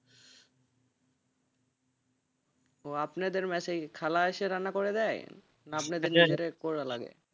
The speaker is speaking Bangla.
ও আপনাদের বাসায় খালায এসে রান্না করে দেয় না আপনাদেড় করা লাগে,